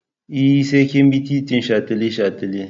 E, sai kin bi titin shataletale.